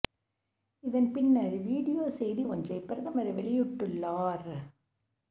இதன் பின்னர் வீடியோ செய்தி ஒன்றை பிரதமர் மோடி வெளியிட்டுள்ளார்